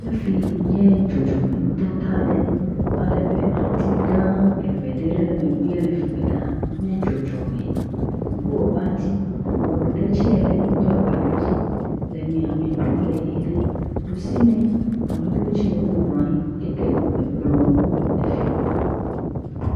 Fii nye dzɔdzɔmenutata aɖe. Alebe ati gãa eve ɖe le megbe le fi mɛ ɖaa nye dzɔdzɔme. Guɔ be ati. Eŋu ɖe tsɛ le do agba ɖe edzi le miãme. Eŋua le ʋie ɖe. Ɖusime, ame ɖewo tsɛ, wobɔblɔ anyi yi ke le kplɔ̃ le fii.